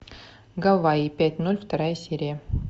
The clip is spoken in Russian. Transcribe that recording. гавайи пять ноль вторая серия